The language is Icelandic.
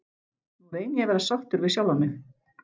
Nú reyni ég að vera sáttur við sjálfan mig.